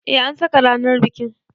Eh an saka ranar bikin.